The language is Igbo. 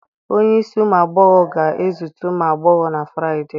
Onye ísì umu agbọghọ ga-ezute ụmụ agbọghọ na Friday.